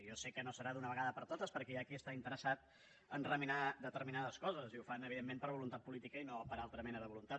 jo sé que no serà d’una vegada per totes perquè hi ha qui està interessant a remenar determinades coses i ho fan evidentment per voluntat política i no per altra mena de voluntat